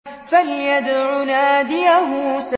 فَلْيَدْعُ نَادِيَهُ